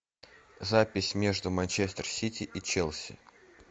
запись между манчестер сити и челси